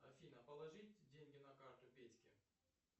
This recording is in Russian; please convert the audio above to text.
афина положить деньги на карту петьке